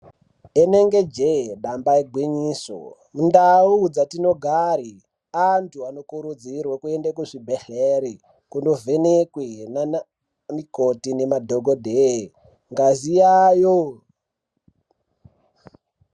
Rinenge jee damba igwinyiso, mundau dzatinogare antu anokurudzirwe kuende kuzvibhedhlere, kunovhenekwe naanamikoti nemadhokodheye ngazi yayo.